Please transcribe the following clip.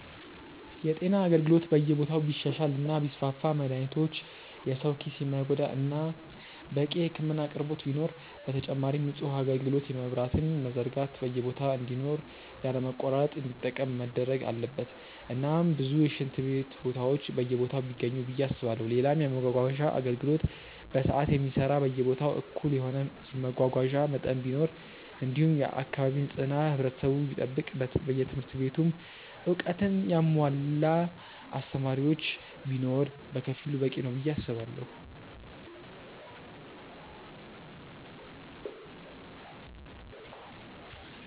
የጤና አገልግሎት በየቦታው ቢሻሻል እና ቢስፋፋ መድሃኒቶች የሰው ኪስ የማይጎዳ እናም በቂ የህክምና አቅርቦት ቢኖር፣ በተጨማሪም ንጹህ ውሃ አጋልግሎት የመብራትም መዘርጋት በየቦታ እንዲኖር ያለ መቆራረጥ እንዲጠቀም መደረግ አለበት እናም ብዙ የሽንት ቤት ቦታዎች በየቦታው ቢገኙ ብዬ አስባለው፣ ሌላም የመመጓጓዣ አገልግሎት በሰዓት የሚሰራ በየቦታው እኩል የሆነ የመጓጓዣ መጠን ቢኖር እንዲሁም የአካባቢ ንጽህና ህብረተሰቡ ቢጠብቅ በየትምህርት ቤቱም እውቀትን ያሙዋላ አስተማሪዎች ቢኖር በከፊሉ በቂ ነው ብዬ አስባለው።